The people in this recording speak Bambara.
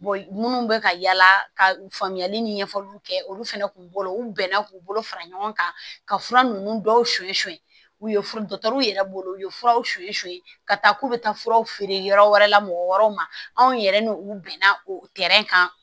minnu bɛ ka yala ka faamuyali ni ɲɛfɔliw kɛ olu fɛnɛ kun b'o u bɛnna k'u bolo fara ɲɔgɔn kan ka fura ninnu dɔw u ye fura yɛrɛ bolo u ye furaw ka taa k'u bɛ taa furaw feere yɔrɔ wɛrɛ la mɔgɔ wɛrɛw ma anw yɛrɛ ni u bɛnna kan